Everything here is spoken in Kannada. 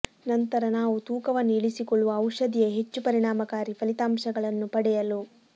ನಂತರ ನಾವು ತೂಕವನ್ನು ಇಳಿಸಿಕೊಳ್ಳುವ ಔಷಧಿಯ ಹೆಚ್ಚು ಪರಿಣಾಮಕಾರಿ ಫಲಿತಾಂಶಗಳನ್ನು ಪಡೆಯಲು